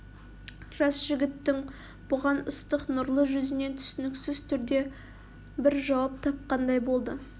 жас жігіттің бұған ыстық нұрлы жүзінен түсініксіз түрде бір жауап тапқандай болды